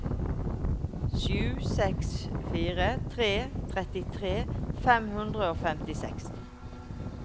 sju seks fire tre trettitre fem hundre og femtiseks